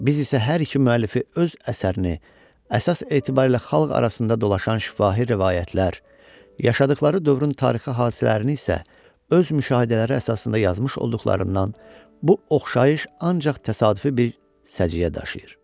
Biz isə hər iki müəllifi öz əsərini əsas etibarı ilə xalq arasında dolaşan şifahi rəvayətlər, yaşadıqları dövrün tarixi hadisələrini isə öz müşahidələri əsasında yazmış olduqlarından bu oxşayış ancaq təsadüfi bir səciyyə daşıyır.